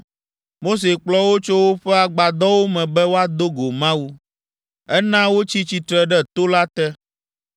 Mose kplɔ wo tso woƒe agbadɔwo me be woado go Mawu; ena wotsi tsitre ɖe to la te.